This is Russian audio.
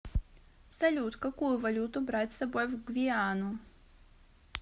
салют какую валюту брать с собой в гвиану